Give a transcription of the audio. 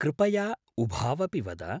कृपया उभावपि वद।